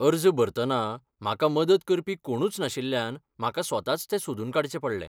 अर्ज भरतना म्हाका मदत करपी कोणूच नाशिल्ल्यान म्हाका स्वताच तें सोदून काडचें पडलें.